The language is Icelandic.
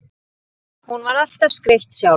Hún var alltaf skreytt sjálf.